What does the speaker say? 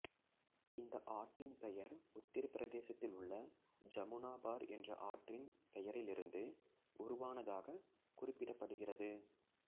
இந்த ஆட்டின் பெயர் உத்திரப்பிரதேசத்தில் உள்ள ஜமுனா பார் என்று ஆற்றின் பெயரிலிருந்து உருவானதாகக் குறிப்பிடப்படுகிறது